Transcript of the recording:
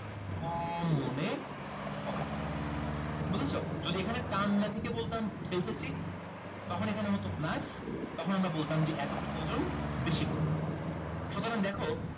কম মনে হবে বুঝেছো যদি এখানে টান না থেকে বলতাম ঠেলতেছি তখন এখানে হতো plus তখন আমরা বলতাম যে এতটুক ওজন বেশি বলে মনে হবে সুতরাং দেখো